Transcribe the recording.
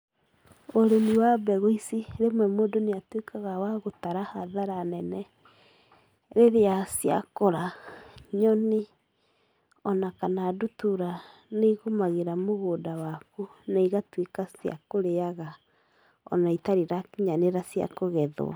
Ũrĩmi wa mbegũ ici, rĩmwe mũndũ nĩatuĩkaga wa gũtara hathara nene, rĩrĩa ciakũra. Nyoni, ona kana ndutura nĩigũmagĩra mũgũnda waku na igatuĩka cia kũrĩaga ona itarĩ irakinyanĩra cia kũgethwo.